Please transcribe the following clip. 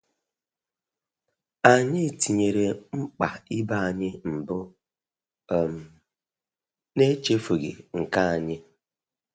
Anyị tinyere mkpa ibe anyị mbu um na echefughi nke anyi